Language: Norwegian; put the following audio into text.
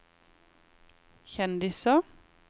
kjendiser